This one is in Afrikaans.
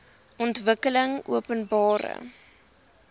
ontwikkelingopenbare